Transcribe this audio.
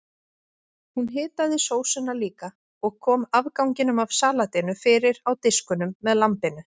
Hún hitaði sósuna líka og kom afganginum af salatinu fyrir á diskunum með lambinu.